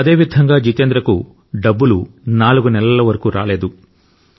అదే విధంగా జీతేంద్ర కు డబ్బులు నాలుగు నెలల వరకు రాలేదు